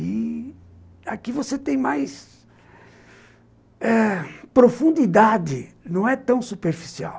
E aqui você tem mais... ãh... profundidade, não é tão superficial.